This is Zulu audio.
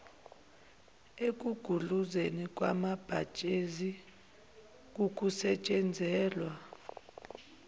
ekugudluzweni kwamabhajethi kukusetshenziselwa